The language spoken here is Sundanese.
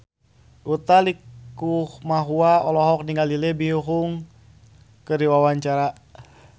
Utha Likumahua olohok ningali Lee Byung Hun keur diwawancara